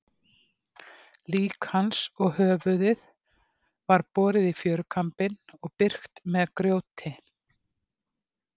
Lík hans og höfuðið var borið í fjörukambinn og byrgt með grjóti.